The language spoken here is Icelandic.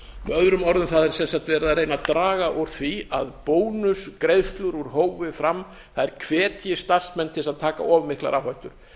öðrum orðum það er verið að reyna að draga úr því að bónusgreiðslur úr hófi fram hvetji starfsmenn til þess að taka of mikla áhættu